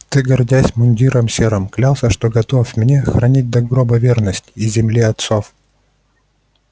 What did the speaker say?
ты гордясь мундиром серым клялся что готов мне хранить до гроба верность и земле отцов